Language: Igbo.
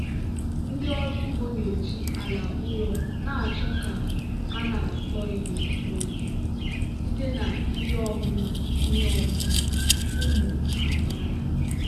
ndị ọrụ ugbo na-eji ala ụrọ na-achọ ka a na-akọ ihe n'oge site na ihe ọmụma ihe ọmụma ụmụ amaala.